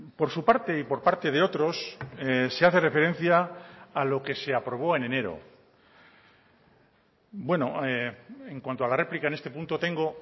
por su parte y por parte de otros se hace referencia a lo que se aprobó en enero bueno en cuanto a la réplica en este punto tengo